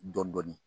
Dɔn dɔɔnin